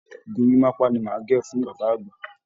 Gorímaápá ni màá gẹ̀ fún bàbá àgbà